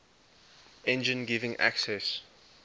engine giving access